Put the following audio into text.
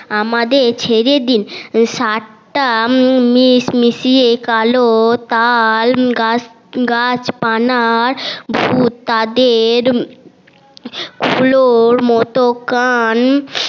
আমাদের ছেড়ে দিন সাতটা কালো তাল গাছপালার ভুত তাদের গুলোর মতো কান